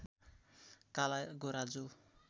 काला गोरा जो